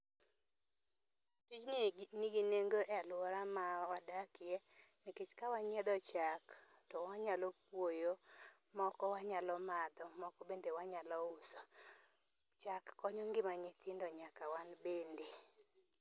Tijni nigi nengo e aluora ma wadakie nikech ka wanyiedho chak, to wanyalo puoyo moko wanyalo madho, moko bende wanyalo uso. Chak konyo ngima nyithindo nyaka wan bende